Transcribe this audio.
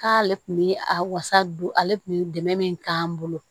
K'ale tun bɛ a wasa don ale kun bi dɛmɛn k'an bolo